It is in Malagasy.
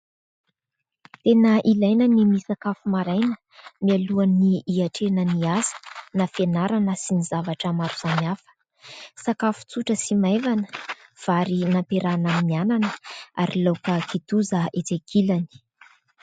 Tena ilaina ny misakafo maraina mialoha ny hiatrena ny asa na fianarana sy ny zavatra maro samihafa ; sakafo tsotra sy maivana vary nampiarahana amin'ny anana ary laoka kitoza etsy ankilany.